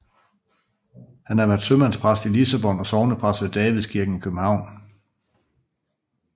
Han har været sømandspræst i Lissabon og sognepræst ved Davidskirken i København